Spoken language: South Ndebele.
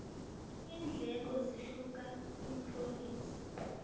iindleko zihluka iphrovinsi